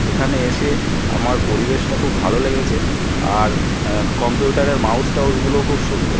এখানে এসে আমার পরিবেশটা খুব ভালো লেগেছে আর উমম কম্পিউটার -এর মাউস টাউজ গুলোও খুব সুন্দর ।